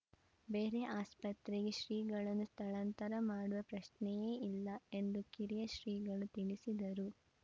ಬೇರೆ ಆಸ್ಪತ್ರೆಗೆ ಶ್ರೀಗಳನ್ನು ಸ್ಥಳಾಂತರ ಮಾಡುವ ಪ್ರಶ್ನೆಯೇ ಇಲ್ಲ ಎಂದು ಕಿರಿಯ ಶ್ರೀಗಳು ತಿಳಿಸಿದರು